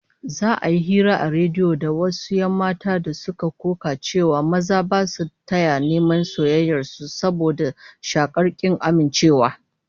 Za'a yi hira a rediyo da wasu 'yan mata da suka koka cewa maza ba su taya neman soyayyar su, saboda shakkar kin amincewa